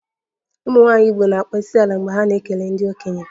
Ụmụnwaanyị Igbo na-akpọ isiala mgbe ha na-ekele ndị okenye